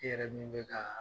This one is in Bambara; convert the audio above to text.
I yɛrɛ min bɛ ka